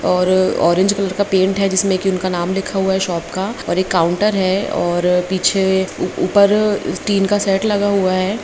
--और orange colour का paint है जिसमे की उनका नाम लिखा हुआ है। शॉप का और एक काउंटर है और अ पीछे उ-ऊपर टीन का सेट लगा हुआ है।